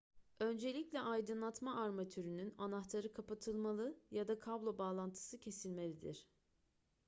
öncelikle aydınlatma armatürünün anahtarı kapatılmalı ya da kablo bağlantısı kesilmelidir